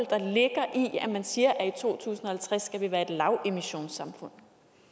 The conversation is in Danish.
man siger at i to tusind og halvtreds skal vi være et lavemissionssamfund